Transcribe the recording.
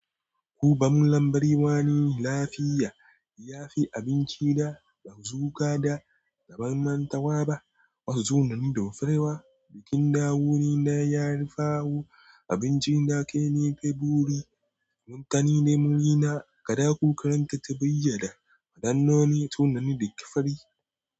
Kuba mun lambari wani lafiya, ya fi abinci da ba su ka da zamantawa ba. Wasu tunanin da furewa, bikin dawonin da ya fi hawo abinci da kai ne. Faburi, mantani da murina, gada kukaranta ta bayyana. Adannani, tunani da ƙifari.